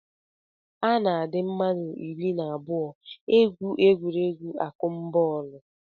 A na-adị mmadụ iri na abụọ egwu egwuregwu akụmbọọlụ